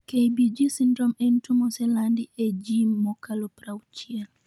KBG syndrome en tuo moselandi ee jiim makalo 60